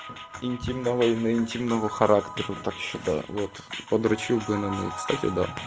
интимного интимного характера так считаю вот подрочил бы к стате да